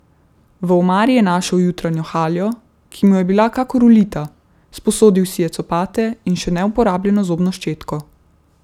V omari je našel jutranjo haljo, ki mu je bila kakor ulita, sposodil si je copate in še neuporabljeno zobno ščetko.